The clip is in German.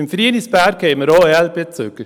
Im Frienisberg haben wir auch EL-Bezüger.